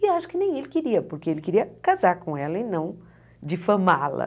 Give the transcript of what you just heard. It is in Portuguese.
E acho que nem ele queria, porque ele queria casar com ela e não difamá-la.